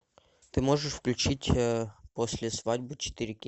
ты можешь включить после свадьбы четыре кей